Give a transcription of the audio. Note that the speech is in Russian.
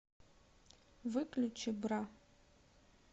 выключи бра